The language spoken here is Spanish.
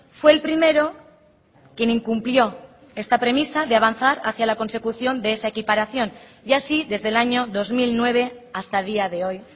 fue el primero quien incumplió esta premisa de avanzar hacia la consecución de esa equiparación y así desde el año dos mil nueve hasta día de hoy